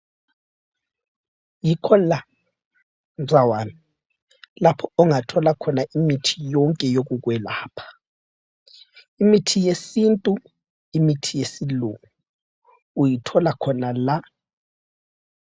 Yikho la mzawami lapho ongathola khona imithi yonke yokukwelapha. Imithi yesintu, imithi yesilungu uyithola khona la.